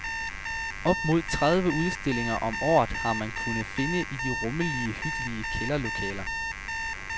Op mod tredive udstillinger om året har man kunnet finde i de rummelige og hyggelige kælderlokaler.